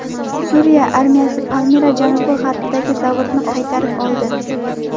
Suriya armiyasi Palmira janubi-g‘arbidagi zavodni qaytarib oldi.